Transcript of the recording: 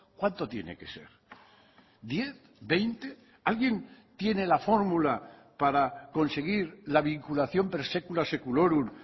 cuánto tiene que ser diez veinte alguien tiene la fórmula para conseguir la vinculación per secula seculorum